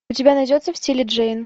у тебя найдется в стиле джейн